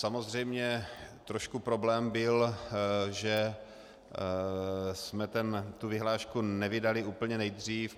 Samozřejmě trošku problém byl, že jsme tu vyhlášku nevydali úplně nejdřív.